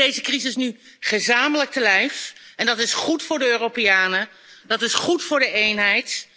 We kunnen deze crisis nu gezamenlijk te lijf gaan, en dat is goed voor de Europeanen, dat is goed voor de eenheid.